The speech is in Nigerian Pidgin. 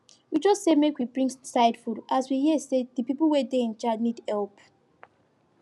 we just say make we bring side food as we hear say the people wey dey in charge need help